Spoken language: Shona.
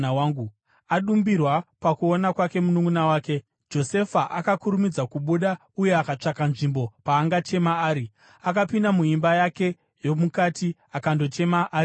Adumbirwa pakuona kwake mununʼuna wake, Josefa akakurumidza kubuda uye akatsvaka nzvimbo paangachema ari. Akapinda muimba yake yomukati akandochema ari imomo.